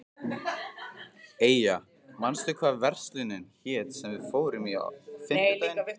Eyja, manstu hvað verslunin hét sem við fórum í á fimmtudaginn?